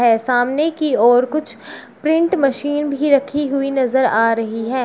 ऐ सामने की ओर कुछ प्रिंट मशीन भी रखी हुई नजर आ रही है।